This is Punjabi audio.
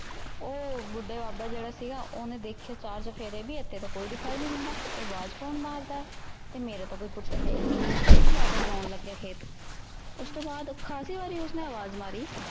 ਉਹ ਬੁੱਢਾ ਬਾਬਾ ਜਿੜਾ ਸੀਗਾ ਉਹਨੇ ਦੇਖਿਆ ਚਾਰ ਚੁਫੇਰੇ ਪੀ ਇਥੇ ਤਾ ਕੋਈ ਦਿਖਾਈ ਨੀ ਦਿੰਦਾ। ਇਹ ਅਵਾਜ ਕੋਣ ਮਾਰਦਾ ਐ ਤੇ ਮੇਰਾ ਤਾਂ ਕੋਈ ਪੁੁਤ ਹੈ ਹੀ ਨਹੀਂ। ਉਹ ਵਾਪਿਸ ਵਾਹੁਣ ਲੱਗ ਪਿਆ ਖੇਤ। ਉਸਤੋਂ ਬਾਅਦ ਖਾਸੀ ਵਾਰੀ ਉਸਨੇ ਅਵਾਜ ਮਾਰੀ।